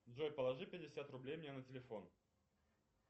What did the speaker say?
джой положи пятьдесят рублей мне на телефон